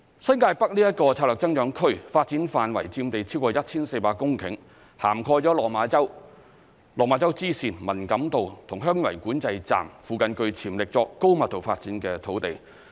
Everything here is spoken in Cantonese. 新界北策略增長區發展範圍佔地超過 1,400 公頃，涵蓋了落馬洲、落馬洲支線、文錦渡和香園圍管制站附近具潛力作高密度發展的土地。